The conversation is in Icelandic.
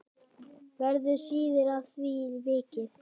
Verður síðar að því vikið.